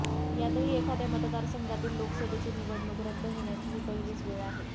त्यातही एखाद्या मतदारसंघातील लोकसभेची निवडणूक रद्द होण्याची ही पहिलीच वेळ आहे